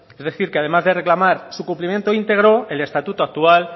es decir que además de reclamar su cumplimiento íntegro el estatuto actual